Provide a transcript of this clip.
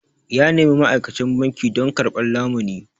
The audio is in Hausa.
Ya nemi ma'aikacin banki don karɓar lamuni.